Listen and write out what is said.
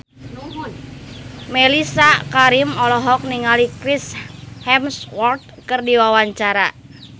Mellisa Karim olohok ningali Chris Hemsworth keur diwawancara